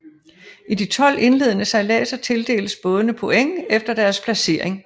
I de 12 indledende sejladser tildeles bådene points efter deres placering